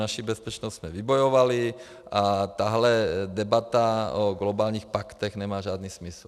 Naši bezpečnost jsme vybojovali a tahle debata o globálních paktech nemá žádný smysl.